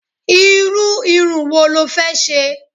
Irú irun wo lo fẹ́ ṣe?